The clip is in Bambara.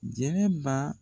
Jɛnɛba